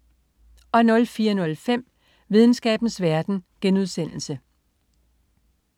04.05 Videnskabens verden*